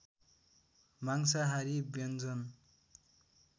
मांसहारी व्यन्जन